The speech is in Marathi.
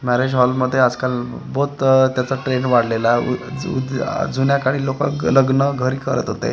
मॅरेज हॉलमध्ये आजकाल बहोत आह त्याचा ट्रेंड वाढलेला आहे अ ज आह जुन्या काळी लोकं लग्न घरी करत होते.